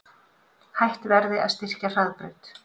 Hætt verði að styrkja Hraðbraut